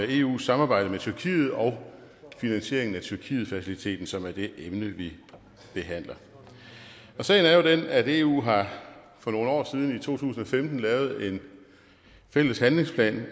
eus samarbejde med tyrkiet og finansieringen af tyrkietfaciliteten som er det emne vi behandler sagen er jo den at eu for nogle år siden i to tusind og femten har lavet en fælles handlingsplan